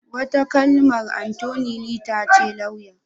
Wata kalmar Attoni lita ce lauya.